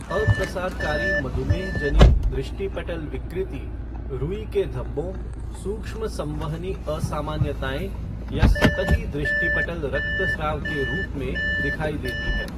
अप्रसारकारी मधुमेह जनित दृष्टिपटल विकृति रुई के धब्बों, सूक्ष्म संवहनी असामान्यताएं या सतही दृष्टिपटल रक्तस्त्राव के रूप में दिखाई देती है।